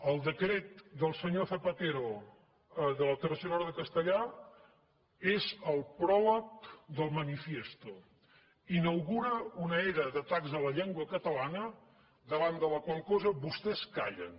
el decret del senyor zapatero de la tercera hora de castellà és el pròleg del manifiesto inaugura una era d’atacs a la llengua catalana davant de la qual cosa vostès callen